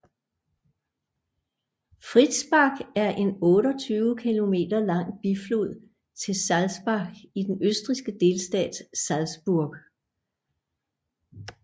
Fritzbach er en 28 km lang biflod til Salzach i den østrigske delstat Salzburg